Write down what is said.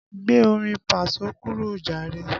Gbé orin paso kúrò jàre!